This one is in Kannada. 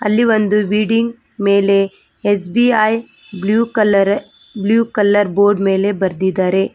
ಅಲ್ಲಿ ಒಂದು ವಿಲ್ಡಿಂಗ್ ಮೇಲೆ SBI blue colour blue colour board ಮೇಲೆ ಬರೆದಿದ್ದಾರೆ.